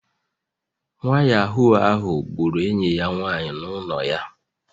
Nwa Yahoo ahu gburu enyi ya nwanyị n'ụlọ ya